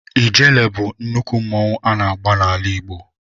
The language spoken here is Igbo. Ijele bụ nnukwu mmanwụ a na-agba n'ala Igbo.